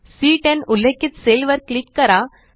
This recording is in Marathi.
सी10 उल्लेखित सेल वर क्लिक करा